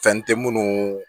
Fɛn tɛ munnu